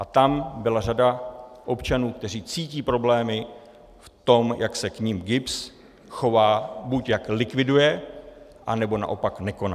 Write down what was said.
A tam byla řada občanů, kteří cítí problémy v tom, jak se k nim GIBS chová - buď jak likviduje, anebo naopak nekoná.